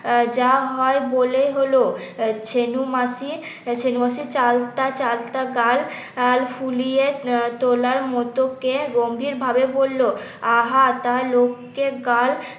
যা হয় বলে হলো ছেনো মাসি চেনো মাসি চালতা চালতা গাল ফুলিয়ে তোলার মতো কি গম্ভীর ভাবে বলল আহা তা লোককে গাল